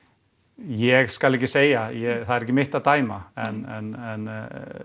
ég skal ekki segja það er ekki mitt að dæma en